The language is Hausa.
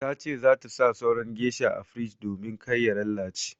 Ta ce za ta sa sauran geisha a firij domin kar ya lalace.